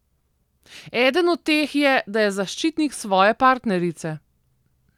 Eden od teh je, da je zaščitnik svoje partnerice.